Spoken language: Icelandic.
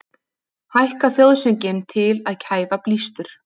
Hækka þjóðsönginn til að kæfa blístur